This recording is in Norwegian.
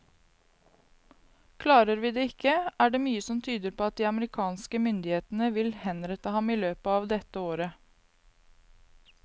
Klarer vi det ikke, er det mye som tyder på at de amerikanske myndighetene vil henrette ham i løpet av dette året.